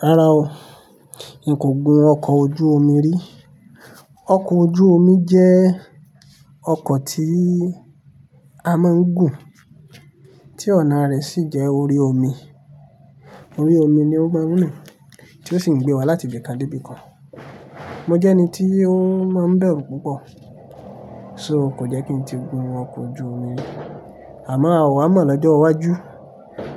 Rárá o, n kò gun ọkọ̀ ojú omi rí. Ọkọ̀ ojú omi jẹ́ ọkọ̀ tí a máa ń gùn, tí ọ̀nà rẹ̀ sì jẹ́ orí omi. Orí omi ni o máa ń rìn tí ó sì ń gbé wa láti ibì kan dé ibì kan. Mo jẹ́ ẹni tí ó máa ń bẹ̀rù púpọ̀, so kò jẹ́ kí n ti gun ọkọ̀ ojú omi rí. Àmọ́ àwa mọ̀ lọ́jọ́ iwájú,